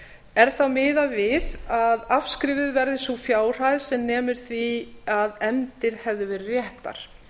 er þá miðað við að afskrifuð verði sú fjárhæð sem nemur því að efndir hefðu verið réttar